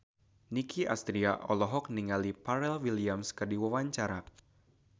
Nicky Astria olohok ningali Pharrell Williams keur diwawancara